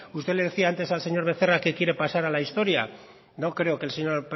usted le decía antes al señor becerra que quiere pasar a la historia no creo que el señor